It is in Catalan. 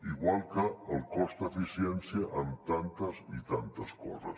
igual que el cost eficiència amb tantes i tantes coses